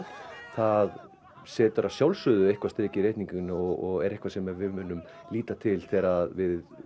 það setur að sjálfsögðu eitthvað strik í reikninginn og er eitthvað sem við munum líta til þegar við